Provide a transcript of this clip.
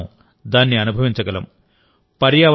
మన చుట్టూ మనం దాన్ని అనుభవించగలం